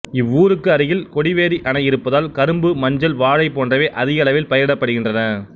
இவ்வூருக்கு அருகில் கொடிவேரி அணை இருப்பதால் கரும்பு மஞ்சள் வாழை போன்றவை அதிக அளவில் பயிரிடப்படுகின்றன